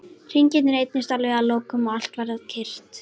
Hringirnir eyddust alveg að lokum og allt varð kyrrt.